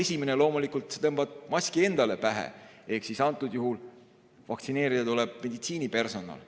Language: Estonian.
Esimene loomulikult, et tõmbad maski endale pähe, ehk antud juhul vaktsineerida tuleb meditsiinipersonal.